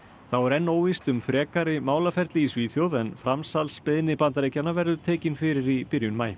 þá er enn óvíst um frekari málaferli í Svíþjóð en framsalsbeiðni Bandaríkjanna verður tekin fyrir í byrjun maí